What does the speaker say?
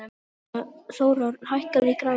Þórörn, hækkaðu í græjunum.